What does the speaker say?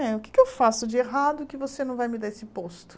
O que eu faço de errado que você não vai me dar esse posto?